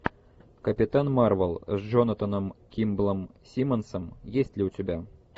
капитан марвел с джонатаном кимблом симмонсом есть ли у тебя